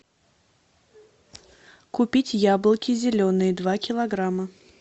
купить яблоки зеленые два килограмма